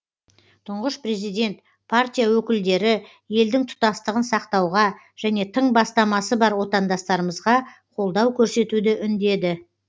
тұңғыш президент партия өкілдері елдің тұтастығын сақтауға және тың бастамасы бар отандастарымызға қолдау көрсетуді үндеді